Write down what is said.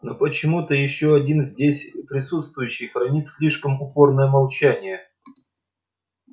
но почему-то ещё один здесь присутствующий хранит слишком упорное молчание